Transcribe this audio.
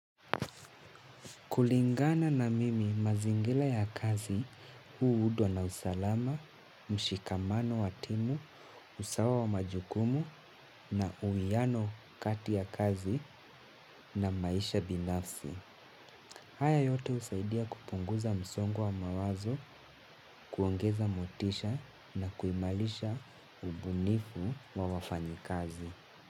Kulingana na mimi mazingira ya kazi huundwa na usalama, mshikamano wa timu, usawa wa majukumu na uwiano kati ya kazi na maisha binafsi. Haya yote husaidia kupunguza msongo wa mawazo, kuongeza motisha na kuimarisha ubunifu wa wafanyikazi.